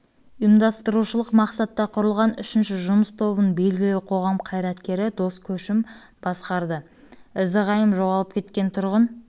ұйымдастырушылық мақсатта құрылған үшінші жұмыс тобын белгілі қоғам қайраткері дос көшім басқарды ізі-ғайым жоғалып кеткен тұрғын